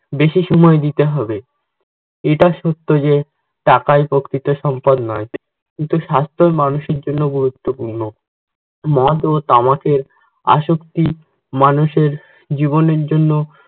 বেশি সময় দিতে হবে। এটা সত্য যে টাকাই প্রকৃত সম্পদ নয়, কিন্তু স্বাস্থও মানুষের জন্য গুরুত্বপূর্ণ। মদ ও তামাকের আসক্তি মানুষের জীবনের জন্য